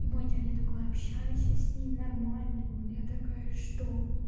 и мой дядя такой общайся с ним нормальный он я такая что